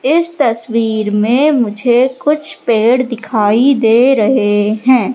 इस तस्वीर में मुझे कुछ पेड़ दिखाई दे रहे है।